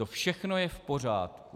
To všechno je v pořádku.